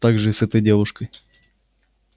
так же и с этой девушкой